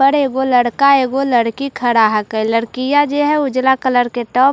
वो लड़का है वो लड़की खड़ा है कि लड़कियां जो है उजला कलर के टॉप काला --